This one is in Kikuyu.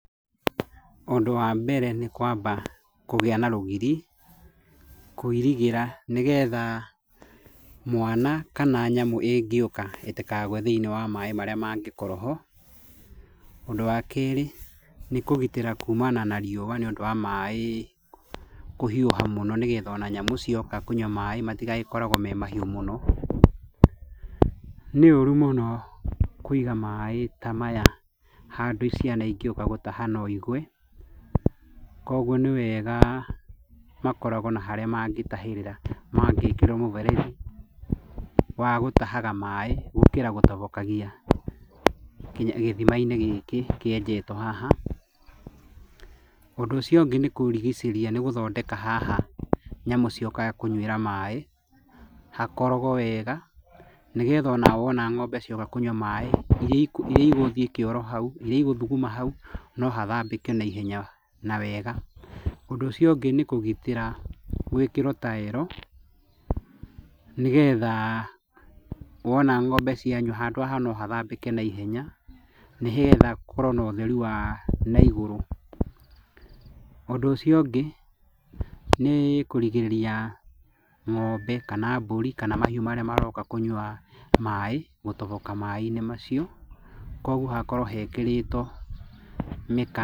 Ũndũ wa mbere nĩ kwamba kũgĩa na rũgiri, kũirigĩra nĩgetha mwana kana nyamũ ĩngĩũka ĩtĩkagũe thĩiniĩ wa maĩ marĩa mangĩkorwo ho. Ũndũ wa keerĩ, nĩ kũgitĩra kumana na riũa nĩ ũndũ wa maĩ kũhiũha mũno nĩgetha ona nyamũ cioka kũnyua maĩ matigagĩkoragwo me mahiũ mũno. Nĩ ũũru mũno kũiga maĩ ta maya handũ ciana ingĩũka gũtaha no igũe, kũguo nĩ wega makoragwo na harĩa mangĩtahĩrĩra mangĩĩkĩra mũberethi wa gũtahaga maĩ gũkĩra gũtobokagia nginya gĩthima-inĩ gĩkĩ kĩenjetwo haha. Ũndũ ũcio ũngĩ nĩ kũrigicĩria nĩ gũthondeka haha nyamũ ciũkage kũnyuĩra maĩ, hakorogwo wega, nĩgetha ona wona ng'ombe cioka kũnyua maĩ irĩa igũthi kĩoro hau, irĩa igũthuguma hau no hathambĩke naihenya na wega. Ũndũ ũcio ũngĩ nĩ kũgitĩra gwĩkĩrwo taero, nĩgetha wona ng'ombe cianyua handũ haha no hathambĩke naihenya, nĩgetha gũkorwo na ũtheru wa naigũrũ. Ũndũ ũcio ũngĩ, nĩ kũrigĩrĩria ng'ombe kana mbũri, kana mahiũ marĩa maroka kũnyua maĩ, gũtoboka maĩ-inĩ macio, koguo hakorwo hekĩrĩtwo mĩkana.